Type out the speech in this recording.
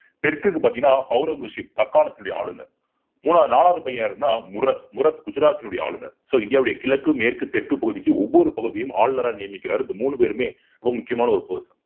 தெற்குக்கு பார்த்தீங்கன்னா ஔரங்கசீப் தக்கனத்தினுடைய ஆளுநர் மூணாவது நாலாவது பையன் யாருன்னா முரத் முரத் குஜராத்தினுடைய ஆளுநர். so இந்தியாவுடைய கிழக்கு மேற்கு தெற்கு பகுதிக்கு ஒவ்வொரு பகுதியும் ஆளுநரா நியமிக்கிறார் இந்த மூணு பேருமே ரொம்ப முக்கியமான ஒரு post